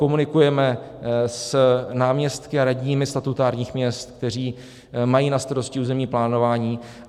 Komunikujeme s náměstky a radními statutárních měst, kteří mají na starosti územní plánování.